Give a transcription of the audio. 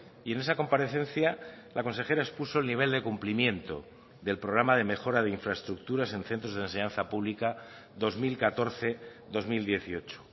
y en esa comparecencia la consejera expuso el nivel de cumplimiento del programa de mejora de infraestructuras en centros de enseñanza pública dos mil catorce dos mil dieciocho